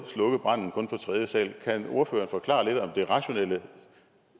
tredje sal kan ordføreren forklare lidt om det rationelle